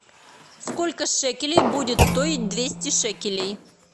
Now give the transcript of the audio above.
сколько шекелей будет стоить двести шекелей